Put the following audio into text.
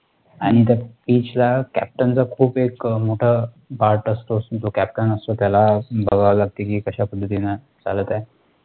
आणि त्या पिचला captain च खूप मोठा एक परत असतो, जो captain असतो त्याला बघावं लागतं, कि कशा पद्धतीनं चालत आहे?